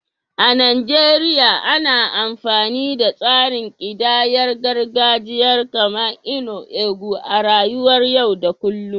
A Najeriya, ana amfani da tsarin kidayar gargajiya kamar "nnu ego" a rayuwar yau da kullum.